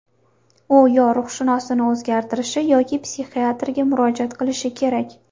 U yo ruhshunosini o‘zgartirishi, yoki psixiatrga murojaat qilishi kerak.